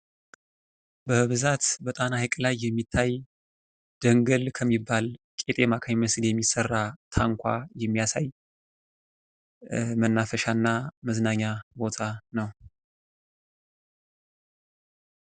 በብዛት በጣና ሀይቅ ላይ የሚታይ ደንገል ከሚባል ቄጠማ ከሚመስል የሚሰራ ታንኳ የሚያሳይ መናፈሻና መዝናኛ ቦታ ነው።